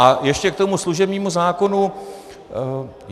A ještě k tomu služebnímu zákonu.